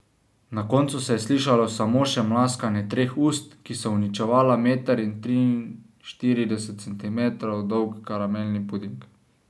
Na koncu se je slišalo samo še mlaskanje treh ust, ki so uničevala meter in triinštirideset centimetrov dolg karamelni puding.